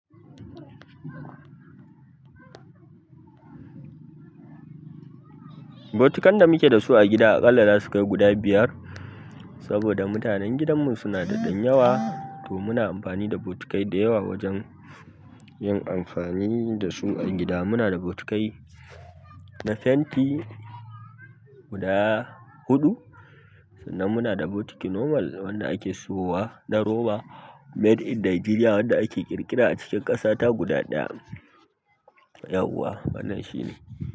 Botukan da muke da su a gida aƙalla da su kai guda biyar, saboda mutanen gidanmu suna da ɗan yawa, to muna amfani da botikai da yawa wajen yin amfani da su a gida. Muna da botikai na fenti guda huɗu, sannan muna da botiki normal wanda ake sowa na roba Made in Nigeria wanda ake ƙirƙira a cikin ƙasata guda ɗaya. Yawwa wannan shine.